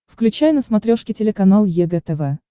включай на смотрешке телеканал егэ тв